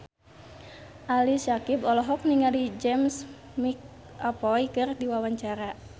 Ali Syakieb olohok ningali James McAvoy keur diwawancara